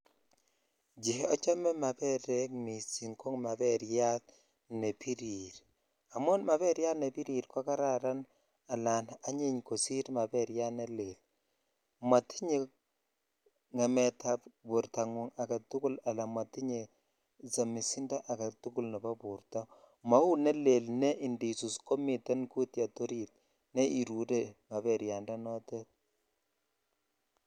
Cheochome maberek missing ko maberryat ne birir amun maberyat ne birir ko kararan ala anyiny kosir maberyat ne lel motinye ngemet ab bortongung agetukul ala motinye somisindo agetul nebo borto mau ne lel ne indisus komiten kutyet orit ne irure maberyan tanotet.ò